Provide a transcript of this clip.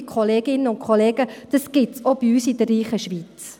Liebe Kolleginnen und Kollegen, das gibt es auch bei uns in der reichen Schweiz.